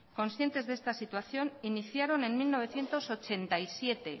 conscientes de esta situación iniciaron en